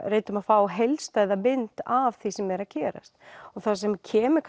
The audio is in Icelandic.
reyndum að fá heildstæða mynd af því sem er að gerast það sem kemur